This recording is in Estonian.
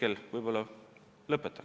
Sellega ma võib-olla lõpetan.